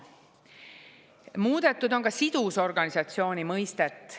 Muudetud on sidusorganisatsiooni mõistet.